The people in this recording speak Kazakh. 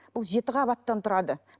бұл жеті қабаттан тұрады